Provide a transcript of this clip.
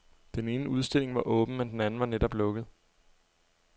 Den ene udstilling var åben, men den anden var netop lukket.